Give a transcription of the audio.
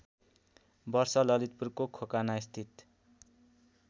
वर्ष ललितपुरको खोकनास्थित